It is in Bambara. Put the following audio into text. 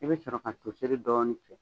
I bɛ sɔrɔ ka to seri dɔɔni tigɛ.